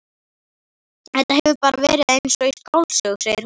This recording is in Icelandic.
Þetta hefur bara verið eins og í skáldsögu, segir hún.